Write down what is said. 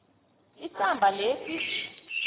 isamba lesi